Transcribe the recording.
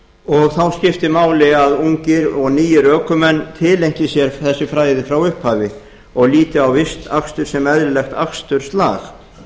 og þá skiptir máli að ungir og nýir ökumenn tileinki sér þessi fræði frá upphafi og líti á vistakstur sem eðlilegt aksturslag